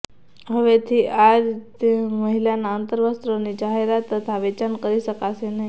હવેથી આ રીતે મહિલાના અંતર્વસ્ત્રોની જાહેરાત તથા વેચાણ કરી શકાશે નહીં